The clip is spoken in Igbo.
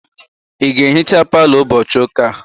Ị ga-ehicha palọ ụbọchị ụka a?